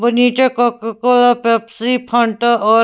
वनिटा Coca Cola Pepsi Fanta और--